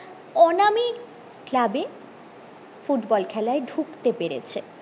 অনামিক ক্লাবে ফুটবল খেলায় ঢুকতে পেরেছে